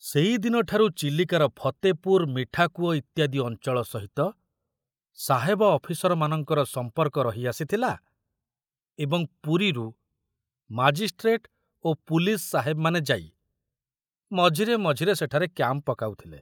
ସେଇଦିନଠାରୁ ଚିଲିକାର ଫତେପୁର, ମିଠାକୂଅ ଇତ୍ୟାଦି ଅଞ୍ଚଳ ସହିତ ସାହେବ ଅଫିସରମାନଙ୍କର ସମ୍ପର୍କ ରହି ଆସିଥିଲା ଏବଂ ପୁରୀରୁ ମାଜିଷ୍ଟ୍ରେଟ ଓ ପୁଲିସ ସାହେବମାନେ ଯାଇ ମଝିରେ ମଝିରେ ସେଠାରେ କ୍ୟାମ୍ପ ପକାଉଥିଲେ।